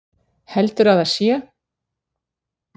Heldurðu að það sé?